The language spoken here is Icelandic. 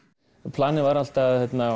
planið var alltaf